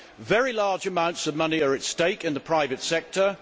Very large amounts of money are at stake in the private sector.